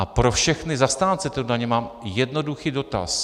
A pro všechny zastánce této daně mám jednoduchý dotaz.